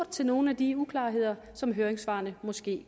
til nogle af de uklarheder som høringssvarene måske